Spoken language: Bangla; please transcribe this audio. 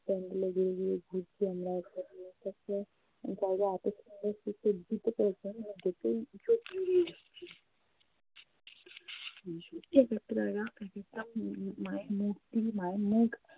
pandal এ যেয়ে যেয়ে ঘুরছি আমরা দিতে পেরেছে দেখেই চোখ জুড়িয়ে যাচ্ছে এক একটা মূর্তি মায়ের মুখ